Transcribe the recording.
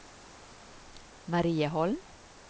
Marieholm